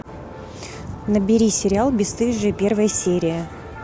набери сериал бесстыжие первая серия